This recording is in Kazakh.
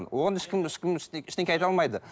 оған ешкім ешкім ештеңе айталмайды